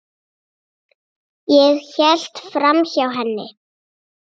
Ég hélt framhjá henni.